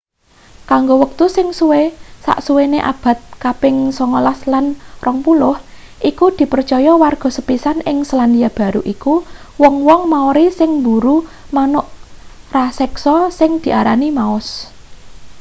kanggo wektu sing suwe sasuwene abad kaping sangalas lan rongpuluh iku dipercaya warga sepisan ing selandia baru iku wong-wong maori sing mburu manuk raseksa sing diarani moas